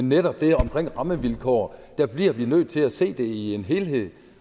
netop det omkring rammevilkår bliver vi nødt til at se det i en helhed